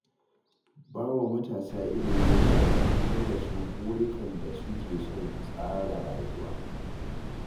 Ba wa matasa ilimi yana fahimtar da su burikan da su ke son tsara rayuwa.